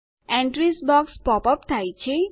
entries box pops up થાય છે